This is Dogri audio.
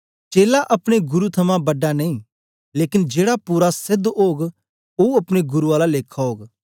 चेला अपने गुरु थमां बड़ा नेई लेकन जेड़ा पूरा सेध ओग ओ अपने गुरु आला लेखा ओग